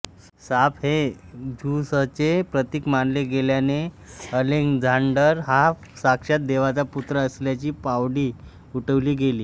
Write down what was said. साप हे झ्यूसचे प्रतीक मानले गेल्याने अलेक्झांडर हा साक्षात देवाचा पुत्र असल्याची वावडी उठवली गेली